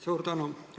Suur tänu!